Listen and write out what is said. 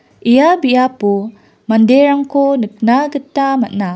ia biapo manderangko nikna gita man·a.